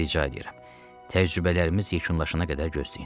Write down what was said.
Rica eləyirəm, təcrübələrimiz yekunlaşana qədər gözləyin.